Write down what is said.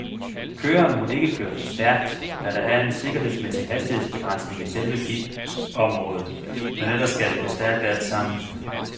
Køreren må ikke køre for stærkt, da der er en sikkerhedsmæssig hastighedsbegrænsning i selve pitområdet, men ellers skal det gå stærkt alt sammen.